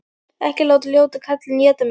Ekki láta ljóta kallinn éta mig!